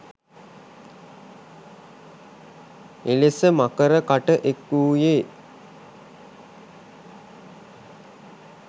එලෙස මකර කට එක් වූයේ